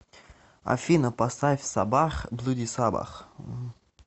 афина поставь саббах блуди саббах